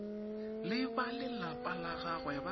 le balelapa la gagwe ba